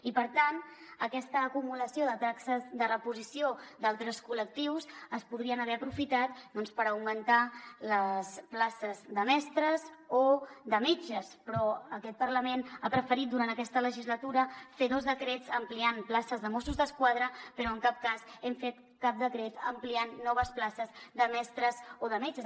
i per tant aquesta acumulació de taxes de reposició d’altres col·lectius es podrien haver aprofitat doncs per augmentar les places de mestres o de metges però aquest parlament ha preferit durant aquesta legislatura fer dos decrets ampliant places de mossos d’esquadra però en cap cas hem fet cap decret ampliant noves places de mestres o de metges